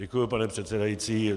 Děkuji, pane předsedající.